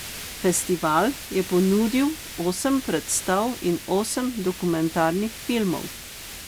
Festival je ponudil osem predstav in osem dokumentarnih filmov.